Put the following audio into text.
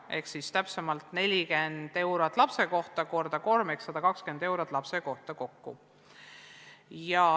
Ehk täpsemalt, 40 eurot korrutatakse kolmega ehk kokku 120 eurot ühe lapse kohta.